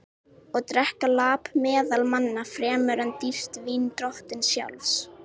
Og drekka lap meðal manna fremur en dýrt vín drottins sjálfs?